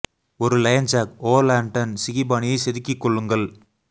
ஒரு lion jack o lantern சிகி பாணியைச் செதுக்கிக் கொள்ளுங்கள்